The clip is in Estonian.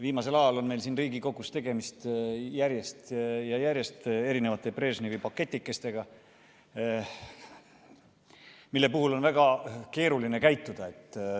Viimasel ajal on meil siin Riigikogus tegemist järjest ja järjest Brežnevi pakikestega, mille puhul on väga keeruline käituda.